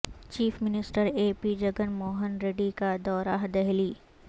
chief minister A P Jagan Mohan Reddy کا دورہ دہلی